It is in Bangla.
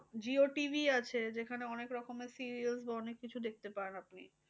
jio TV আছে যেখানে অনেক রকমের serials বা অনেক কিছু দেখতে পান আপনি।